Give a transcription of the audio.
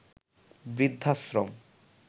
বৃদ্ধাশ্রম